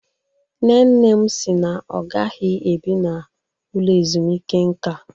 Nne nne m si na ọ gaghị ebi n'ụlọ ezumike nka